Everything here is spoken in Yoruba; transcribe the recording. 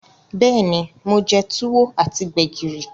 Beeni, mo je Tuwo ati Gbẹ̀gìrì.